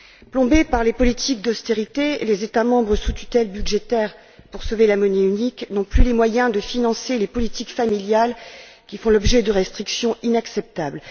Plombés par les politiques d'austérité, les États membres sous tutelle budgétaire pour sauver la monnaie unique n'ont plus les moyens de financer les politiques familiales qui font l'objet de restrictions inacceptables.